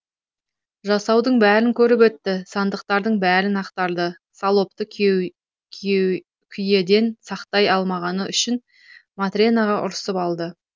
жасаудың бәрін көріп өтті сандықтардың бәрін ақтарды салопты күйеден сақтай алмағаны үшін матренаға ұрсып алды